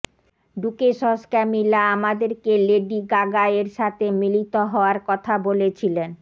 duchess Camilla আমাদেরকে Lady Gaga এর সাথে মিলিত হওয়ার কথা বলেছিলেন